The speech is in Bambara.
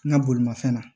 N ka bolimafɛn na